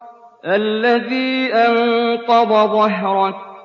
الَّذِي أَنقَضَ ظَهْرَكَ